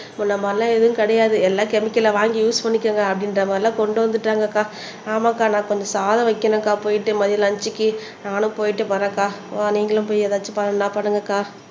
நம்ம எல்லாம் எதுவும் கிடையாது எல்லா கெமிக்கல்லா வாங்கி யூஸ் பண்ணிக்கோங்க அப்படின்ற மாதிரி எல்லாம் கொண்டு வந்துட்டாங்கக்கா ஆமாக்கா நான் கொஞ்சம் சாதம் வைக்கணும்க்கா போயிட்டு மதியம் லஞ்ச்க்கு நானும் போயிட்டு வரேன்க்கா வா நீங்களும் போய் எதாச்சும் பண்ணனும்னா பண்ணுங்க அக்கா